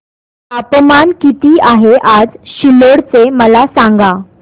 तापमान किती आहे आज सिल्लोड चे मला सांगा